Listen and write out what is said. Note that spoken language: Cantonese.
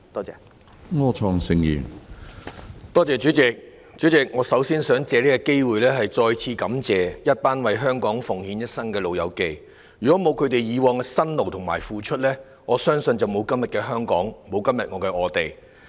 主席，我首先想藉此機會再次感謝一群為香港奉獻一生的"老友記"，如果沒有他們以往的辛勞和付出，恐怕沒有今天的香港，沒有今天的我們。